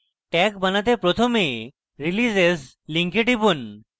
tag বানাতে প্রথমে releases link টিপুন